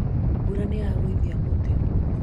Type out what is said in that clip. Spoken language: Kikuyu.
mbura nĩyagũithia mũtĩ